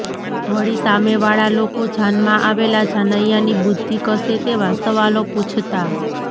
વળી સામેવાળા લોકો જાનમાં આવેલા જાનૈયાની બુદ્ધિ કસે તેવા સવાલો પૂછતા